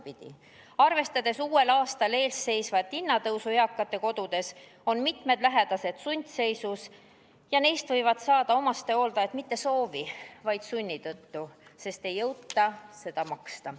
Pigem vastupidi: kuna uuel aastal ees seisab eakatekodudes ees hinnatõus, on mitmed lähedased sundseisus ja neist võivad saada omastehooldajad mitte soovi, vaid sunni tõttu, sest ei jõuta kohatasu maksta.